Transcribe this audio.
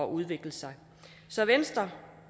udvikle sig så venstre